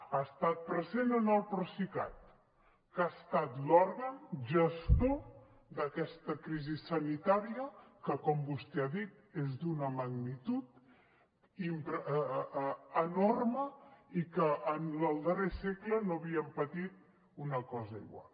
ha estat present en el procicat que ha estat l’òrgan gestor d’aquesta crisi sanitària que com vostè ha dit és d’una magnitud enorme i que en el darrer segle no havíem patit una cosa igual